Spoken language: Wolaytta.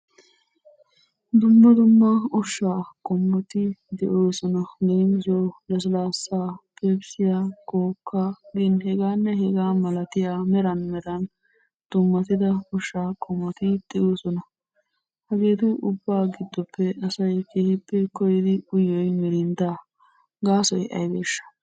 Dumma dumma ushshaa qommoti de'oosona. Leemisuwawu lasilaasaa, pepsiya, kookkaa gin hegaanne hegaa malatiya meran meran dummatida ushshaa qommoti de'oosona. Hageetu ubbaa giddoppe asay keehippe koyyidi uyiyoy mirinddaa. Gaasoy aybeeshsha?